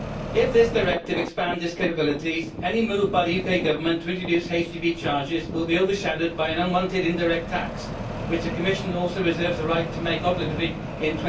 If this directive expands its capabilities, any move by the UK Government to introduce HGV charges will be overshadowed by an unwanted indirect tax which the Commission also reserves the right to make obligatory in